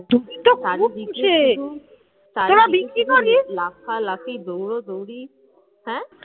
চারিদিকে লাফালাফি দৌড়োদৌড়ি, হ্যাঁ